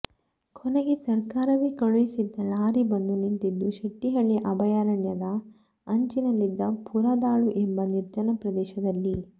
ಕೊನೆಗೆ ಸರ್ಕಾರವೇ ಕಳುಹಿಸಿದ್ದ ಲಾರಿ ಬಂದು ನಿಂತಿದ್ದು ಶೆಟ್ಟಿಹಳ್ಳಿ ಅಭಯಾರಣ್ಯದ ಅಂಚಿನಲ್ಲಿದ್ದ ಪುರಾ ದಾಳು ಎಂಬ ನಿರ್ಜನ ಪ್ರದೇಶ ದಲ್ಲಿ